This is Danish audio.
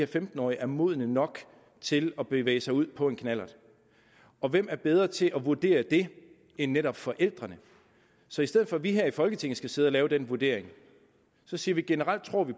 femten årige er modne nok til at bevæge sig ud på en knallert og hvem er bedre til at vurdere det end netop forældrene så i stedet for at vi her i folketinget skal sidde og lave den vurdering siger vi at generelt tror vi